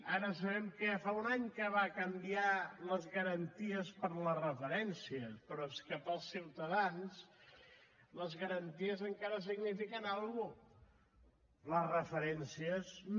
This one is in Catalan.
ara sabem que ja fa un any que va canviar les garanties per les referències però és que per als ciutadans les garanties encara signifiquen alguna cosa les referències no